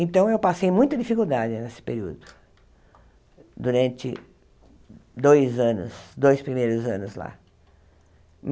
Então, eu passei muita dificuldade nesse período, durante dois anos dois primeiros anos lá.